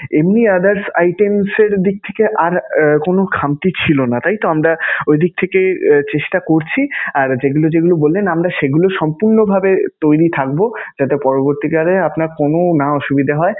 এমনি others item এর দিক থেকে আর কোন খামতি ছিলো না তাইতো? আমরা ওইদিক থেকে চেষ্টা করছি. আর যেগুলো যেগুলো বললেন আমরা সেগুলো সম্পূর্ণভাবে তৈরি থাকবো, যাতে পরবর্তীকালে আপনার কোন না অসুবিধা হয়.